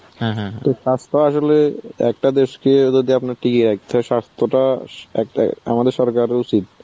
স্বাস্থ্য তো আসলে একটা দেশকে যদি আপনার টিকিয়ে রাখতে হয় স্বাস্থ্যটা একটা আমাদের সরকারের উচিত.